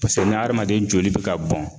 ni adamaden joli bɛ ka bɔn